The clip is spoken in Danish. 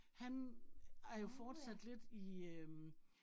Han er jo forstat lidt i øh